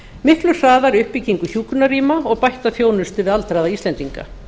miklu hraðari uppbyggingu hjúkrunarrýma og bætta þjónustu við aldraða íslendinga